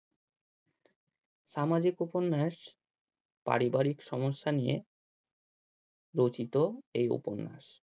সামাজিক উপন্যাস পারিবারিক সমস্যা নিয়ে রচিত এই উপন্যাস